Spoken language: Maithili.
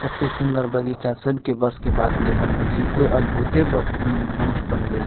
एते सूंदर बगीचा सब के बस के बात नइ बनेने छई कोई अद्भुते मनुष्य बनवेले --